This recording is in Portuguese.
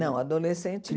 Não, adolescente